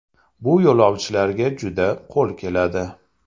Bu yo‘lovchilarga juda qo‘l keladi.